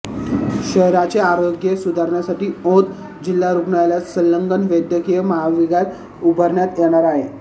शहराचे आरोग्य सुधारण्यासाठी औंध जिल्हा रूग्णालयाला संलग्न वैद्यकीय महाविद्याल उभारण्यात येणार आहे